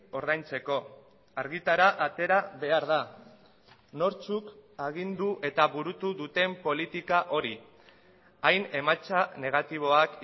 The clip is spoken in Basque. ordaintzeko argitara atera behar da nortzuk agindu eta burutu duten politika hori hain emaitza negatiboak